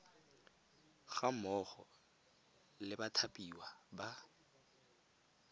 ga mmogo le bathapiwa ba